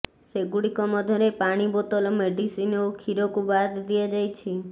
ସେଗୁଡିକ ମଧ୍ୟରେ ପାଣି ବୋତଲ ମେଡ଼ିସିନ ଓ କ୍ଷୀରକୁ ବାଦ ଦିଆଯାଇଛି